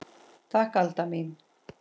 Takk Alda mín.